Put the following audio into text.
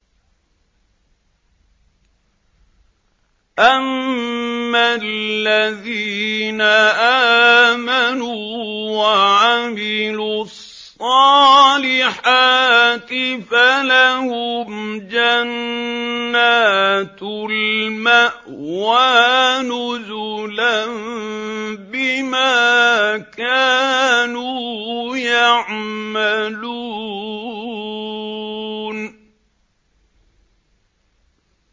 أَمَّا الَّذِينَ آمَنُوا وَعَمِلُوا الصَّالِحَاتِ فَلَهُمْ جَنَّاتُ الْمَأْوَىٰ نُزُلًا بِمَا كَانُوا يَعْمَلُونَ